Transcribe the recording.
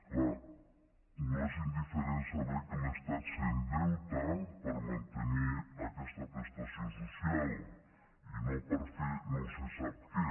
clar no és indiferent saber que l’estat s’endeuta per mantenir aquesta prestació social i no per fer no se sap què